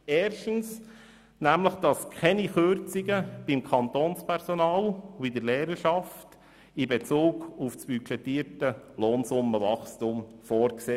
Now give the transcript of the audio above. Erstens sind keine Kürzungen beim Kantonspersonal und bei der Lehrerschaft in Bezug auf das budgetierte Lohnsummenwachstum vorgesehen.